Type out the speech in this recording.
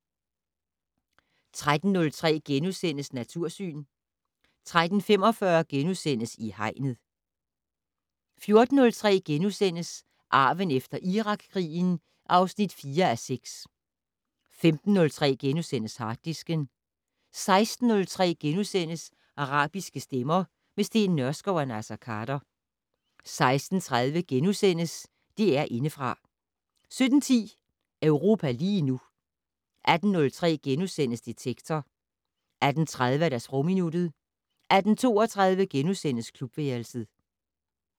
13:03: Natursyn * 13:45: I Hegnet * 14:03: Arven efter Irakkrigen (4:6)* 15:03: Harddisken * 16:03: Arabiske stemmer - med Steen Nørskov og Naser Khader * 16:30: DR Indefra * 17:10: Europa lige nu 18:03: Detektor * 18:30: Sprogminuttet 18:32: Klubværelset *